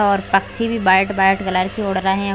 और पक्षी भी बाईट बाईट कलर के उड़ रहें हैं।